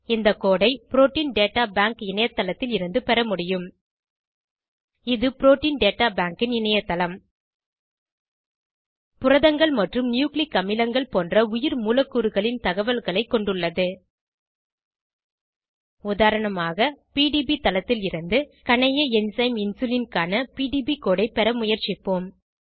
இந்த கோடு ஐ protein data bank இணையத்தளத்தில் இருந்து பெற முடியும் இது புரோட்டீன் டேட்டா பேங்க் ன் இணையதளம் ஆகும் புரதங்கள் மற்றும் நியூக்ளிக் அமிலங்கள் போன்ற உயிர்மூலக்கூறுகளின் தகவல்களை கொண்டுள்ளது உதாரணமாக பிடிபி தளத்திலிருந்து கணைய என்சைம் இன்சுலின் க்கான பிடிபி கோடு ஐ பெற முயற்சிப்போம்